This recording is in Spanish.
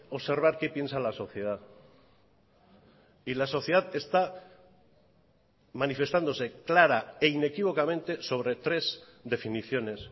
observar qué piensa la sociedad y la sociedad está manifestándose clara e inequívocamente sobre tres definiciones